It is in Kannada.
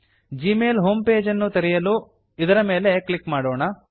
ಜಿಮೇಲ್ ಹೋಮ್ ಪೇಜನ್ನು ತೆರೆಯಲು ಇದರ ಮೇಲೆ ಕ್ಲಿಕ್ ಮಾಡೋಣ